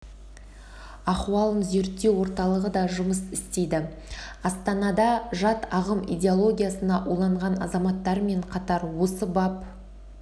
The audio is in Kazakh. ахуалын зерттеу орталығы да жұмыс істейді астанада жат ағым идеологиясына уланған азаматтармен қатар осы бап